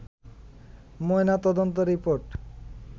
ময়না তদন্ত রিপোর্ট